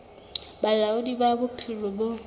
ba bolaodi ba bophelo bo